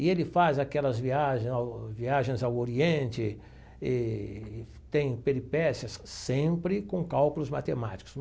E ele faz aquelas viagens ao viagens ao Oriente e tem peripécias sempre com cálculos matemáticos.